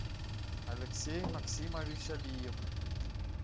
алексей максимович алиев